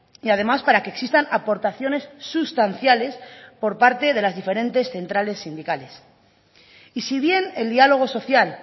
y además para que existan aportaciones sustanciales por parte de las diferentes centrales sindicales y si bien el dialogo social